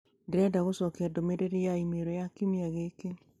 Ndĩrenda gũcokia ndũmĩrĩri ya e-mail ya kiumia gĩkĩ.